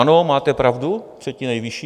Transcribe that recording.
Ano, máte pravdu, třetí nejvyšší.